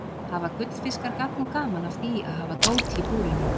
Hafa gullfiskar gagn og gaman af því að hafa dót í búrinu?